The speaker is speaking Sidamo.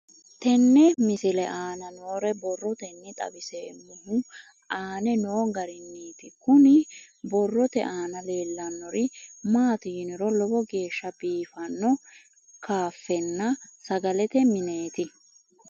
Tenne misile aana noore borroteni xawiseemohu aane noo gariniiti. Kunni borrote aana leelanori maati yiniro lowo geeshsha biifanno kaafenna sagalete mineeti.